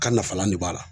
Kan nafalan de b'a la